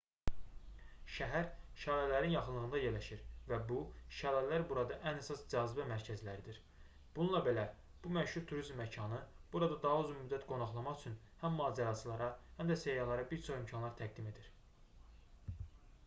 şəhər şəlalələrin yaxınlığında yerləşir və bu şəlalər burada ən əsas cazibə mərkəzləridir bununla belə bu məşhur turizm məkanı burada daha uzun müddət qonaqlamaq üçün həm macəraçılara həm də səyyahlara bir çox imkanlar təqdim edir